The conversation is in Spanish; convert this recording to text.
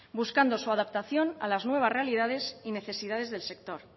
buscando su adaptación a las nuevas realidades y necesidades del sector